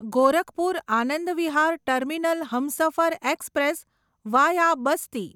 Gorakhpur Anand Vihar terminal Humsafar express via Basti